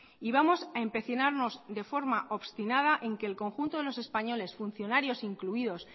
y vamos a empecinarnos de forma obstinada en que el conjunto de los españoles funcionarios incluidos